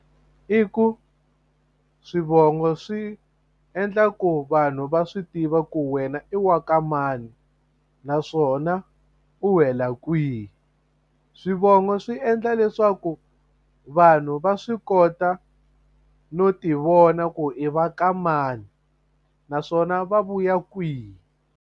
I ku swivongo swi endla ku vanhu va swi tiva ku wena i wa ka mani naswona u wela kwihi swivongo swi endla leswaku vanhu va swi kota no ti vona ku i va ka mani naswona va vuya kwihi.